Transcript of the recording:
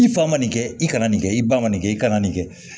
I fa ma nin kɛ i kana nin kɛ i ba ma nin kɛ i kana nin kɛ